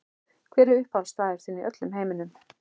Hver er uppáhaldsstaður þinn í öllum heiminum?